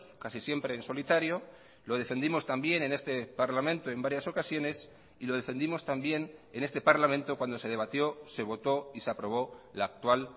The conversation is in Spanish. casi siempre en solitario lo defendimos también en este parlamento en varias ocasiones y lo defendimos también en este parlamento cuando se debatió se votó y se aprobó la actual